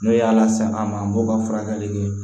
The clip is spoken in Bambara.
N'o ye ala se an ma an b'o ka furakɛli kɛ